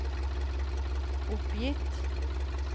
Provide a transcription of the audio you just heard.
oppgitt